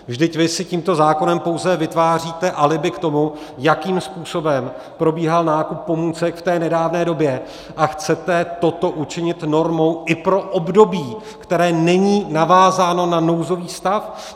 Vždyť vy si tímto zákonem pouze vytváříte alibi k tomu, jakým způsobem probíhal nákup pomůcek v té nedávné době, a chcete toto učinit normou i pro období, které není navázáno na nouzový stav.